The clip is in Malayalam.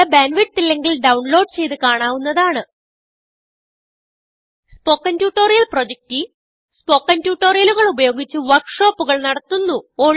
നല്ല ബാൻഡ് വിഡ്ത്ത് ഇല്ലെങ്കിൽ ഡൌൺലോഡ് ചെയ്ത് കാണാവുന്നതാണ് spoken tutorial project team spoken ട്യൂട്ടോറിയലുകൾ ഉപയോഗിച്ച് വർക്ക് ഷോപ്പുകൾ നടത്തുന്നു